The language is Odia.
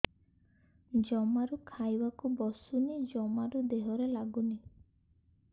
ଜମାରୁ ଖାଇବାକୁ ବସୁନି ଜମାରୁ ଦେହରେ ଲାଗୁନି